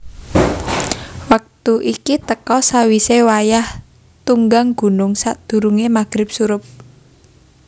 Wektu iki teka sawisé wayah tunggang gunung sadurungé magrib surup